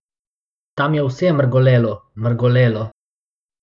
Tam je vse mrgolelo, mrgolelo.